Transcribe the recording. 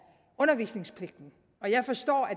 undervisningspligten jeg forstår at